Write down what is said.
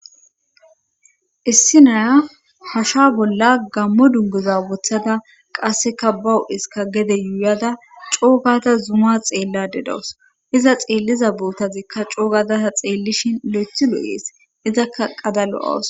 Issi naya hasha bolla gammo dunguza woththada qasseka bawu7iska gede yuuyada coogata zuma xeella dedawus iza xeelliza bootazikka coogadata xeellishin le7ethi lo7ees izakka qadalo7awus